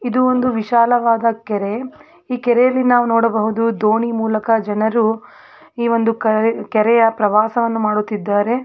ಇದು ಒಂದು ವಿಶಾಲವಾದ ಕೆರೆ. ಈ ಕೆರೆಯಲ್ಲಿ ನಾವು ನೋಡಬಹುದು ದೋಣಿ ಮೂಲಕ ಜನರು ಇವಂದು ಕರೆ ಕೆರೆಯ ಪ್ರವಾಸವನ್ನು ಮಾಡುತ್ತಿದ್ದಾರೆ.